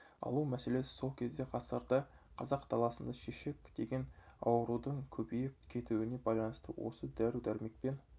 алу мәселесі сол кезде ғасырда қазақ даласында шешек деген аурудың көбейіп кетуіне байланысты осы дәрі-дәрмекпен